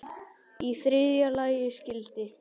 Í þriðja lagi skyldi